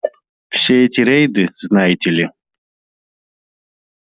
все эти рейды знаете ли